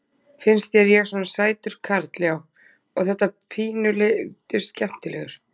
Finnst þér ég svona sætur karl já. og þetta litla pínu skemmtilegur?